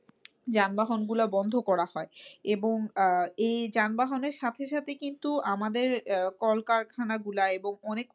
যানবাহন গুলো বন্ধ করা হয়। এবং আহ এই যানবাহনের সাথে সাথে কিন্তু আমাদের আহ কলকারখানা গুলা এবং অনেক